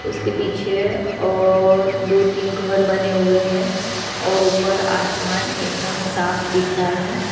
उसके पीछे और दो तीन घर बने हुए हैं और ऊपर आसमान एकदम साफ दिख रहा है।